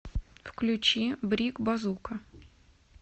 включи брик базука